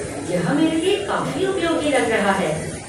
यह मेरे लिए काफी उपयोगी लग रहा है।